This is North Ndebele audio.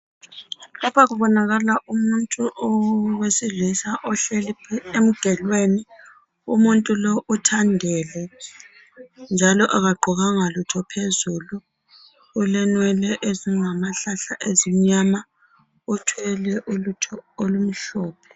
Lapha kubonakala umuntu owesilisa ohleli emgelweni. Umuntu lowu uthandele njalo akagqokanga lutho phezulu. Ulenwele ezingamahlahla ezimnyama . Uthwele ulutho olumhlophe.